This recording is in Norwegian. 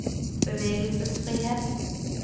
bevegelsesfrihet